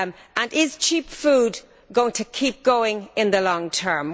And is cheap food going to keep going in the long term?